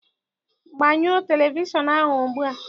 Gbanyo televishọnụ ahụ ugbua!